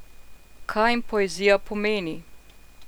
Kaj jim poezija pomeni?